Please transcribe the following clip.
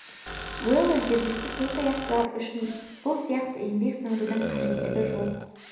уэлдон жергілікті төрт аяқтылар үшін бұл сияқты еңбек сіңірудің қажеттігі жоқ